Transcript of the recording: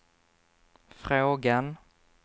frågan